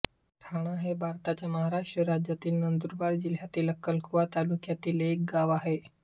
ठाणा हे भारताच्या महाराष्ट्र राज्यातील नंदुरबार जिल्ह्यातील अक्कलकुवा तालुक्यातील एक गाव आहे